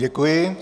Děkuji.